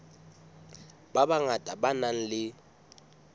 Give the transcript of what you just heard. ba bangata ba nang le